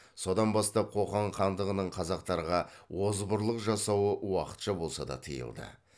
содан бастап қоқан хандығының қазақтарға озбырлық жасауы уақытша болса да тыйылды